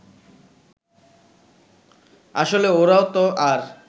আসলে ওরাও তো আর